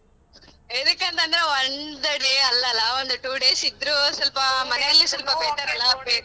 ಎದಕ್ಕೆಂತಂದ್ರೆ ಒಂದ್ day ಅಲ್ಲ ಅಲ ಒಂದ್ two days ಇದ್ರು .